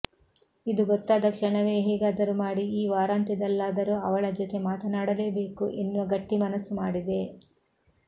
ಇದು ಗೊತ್ತಾದ ಕ್ಷಣವೇ ಹೇಗಾದರೂ ಮಾಡಿ ಈ ವಾರಾಂತ್ಯದಲ್ಲಾದರೂ ಅವಳ ಜೊತೆ ಮಾತನಾಡಲೇಬೇಕು ಎನ್ನುವ ಗಟ್ಟಿ ಮನಸ್ಸು ಮಾಡಿದೆ